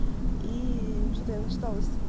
и что-то я начиталась